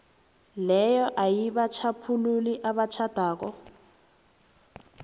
leyo ayibatjhaphululi abatjhadako